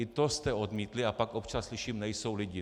I to jste odmítli, a pak občas slyším: nejsou lidi.